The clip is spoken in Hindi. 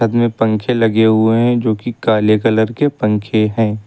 साथ में पंखे लगे हुए हैं जो कि काले कलर के पंखे हैं।